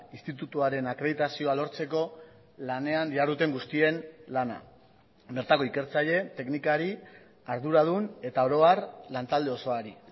institutuaren akreditazioa lortzeko lanean diharduten guztien lana bertako ikertzaile teknikari arduradun eta oro har lantalde osoari